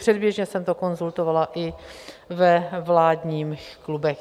Předběžně jsem to konzultovala i ve vládních klubech.